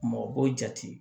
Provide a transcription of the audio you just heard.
Mɔgɔ b'o jate